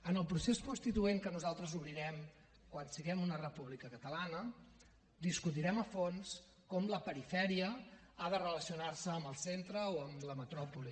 en el procés constituent que nosaltres obrirem quan siguem una república catalana discutirem a fons com la perifèria ha de relacionar se amb el centre o amb la metròpoli